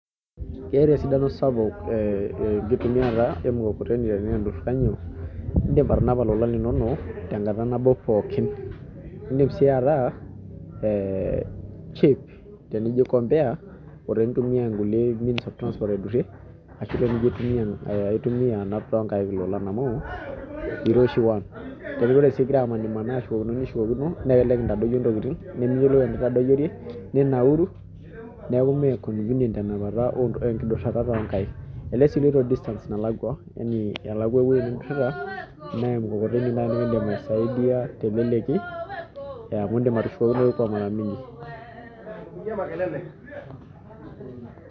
Keeta esidano sapuk enkitumiaroto emukokoteni edim atanapai elolan linono tenkata pookin edim sii ataa cheap compare otenintumia nkulie means of transport aidurie ashu entumia anap too nkaik loolan amu kiroshi nitoki sii aku ore egira anap nintadoyio naa kelelek entadoyio ntokitin niyiolou enindayiore ninauru neeku mee convenient enaduo tenapa enkidurata oo nkaik elelek sii eloito distances nalakua yaani kelakua ewueji nidurita naa emukokoteni nikidim aisaidia teleleki amu edim atushokokinoi mara mingi